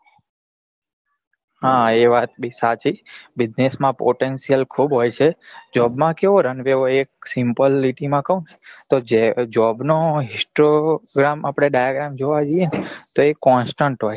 હા એ વાત બી સાચી business માં potential ખુબ હોય છે job માં કેવો રંગ રે હોય એક simple લીટી માં કઉં તો job નો histogram આપડે diagram જોવા જઈએ ને તો એ constant હોય છે